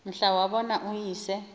mhla wabona uyise